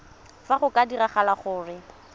fa go ka diragala gore